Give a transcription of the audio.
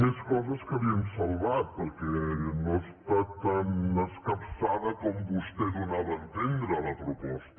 més coses que li hem salvat perquè no està tan escap·çada com vostè donava a entendre la proposta